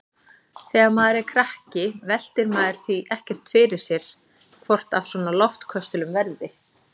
Þegar maður er krakki veltir maður því ekkert fyrir sér hvort af svona loftköstulum verði.